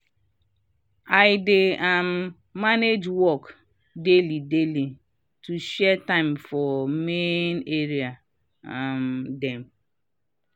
i dey um manage work daily daily to share time for main area um dem.